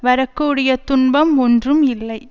வரக்கூடிய துன்பம் ஒன்றும் இல்லை